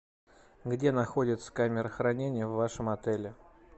где находится камера хранения в вашем отеле